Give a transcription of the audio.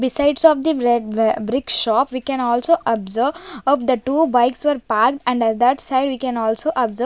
besides of the bre brick shop we can also observe up the two bikes were park and that side we can also observe.